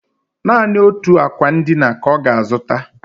Naanị otu akwa ndina ka ọ ga-azụta